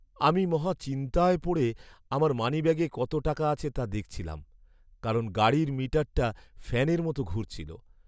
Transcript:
আমি মহা চিন্তায় পড়ে আমার মানিব্যাগে কত টাকা আছে তা দেখছিলাম, কারণ গাড়ির মিটারটা ফ্যানের মতো ঘুরছিল।